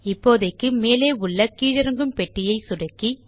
இப்போதைக்கு மேலே உள்ள கீழிறங்கும் பெட்டியை சொடுக்கி